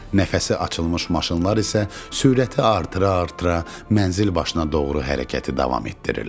Nəfəsi açılmış maşınlar isə sürəti artıra-artıra mənzil başına doğru hərəkəti davam etdirirlər.